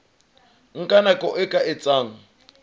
nka nako e ka etsang